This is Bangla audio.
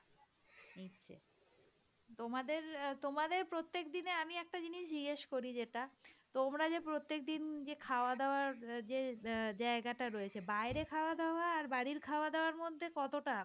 নিচ্ছে. তোমাদের প্রত্যেক দিনে আমি একটা জিনিস জিজ্ঞেস করি যেটা তোমরা যে প্রত্যেক দিন যে খাওয়া-দাওয়ার জ জায়গা টা রয়েছে বাইরে খাওয়া দাওয়া আর বাড়ির খাওয়া-দাওয়ার মধ্যে কতটা